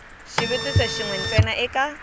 xivutiso xin we ntsena eka